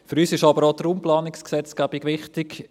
Für uns ist aber auch die Raumplanungsgesetzgebung wichtig.